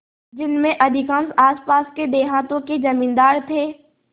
जिनमें अधिकांश आसपास के देहातों के जमींदार थे